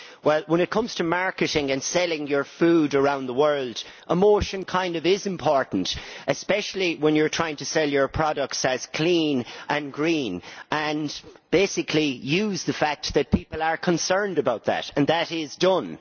Well, when it comes to marketing and selling your food around the world, emotion is important, especially when you are trying to sell your products as clean and green and to use the fact that people are concerned about that. That is done.